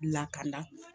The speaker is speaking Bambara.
Lakana